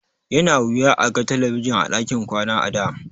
Yana wuya a ga talabijin a ɗakin kwana a da.